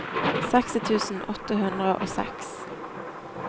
seksti tusen åtte hundre og seks